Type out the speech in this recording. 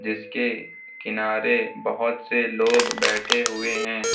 इसके किनारे बहोत से लोग बैठे हुए हैं।